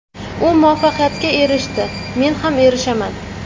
U muvaffaqiyatga erishdi – men ham erishaman.